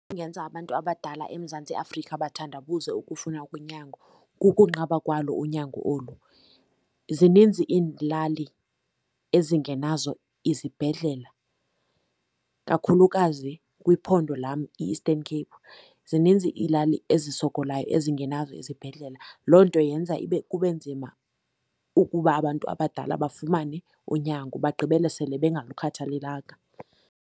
Ingenza abantu abadala eMzantsi Afrika bathandabuze ukufuna unyango, kukunqaba kwalo unyango olu. Zininzi iilali ezingenazo izibhedlela kakhulukazi kwiphondo lam iEastern Cape. Zininzi iilali ezisokolayo ezingenazo izibhedlela, loo nto yenza ibe, kube nzima ukuba abantu abadala bafumane unyango bagqibele sele bengalukhathalelanga.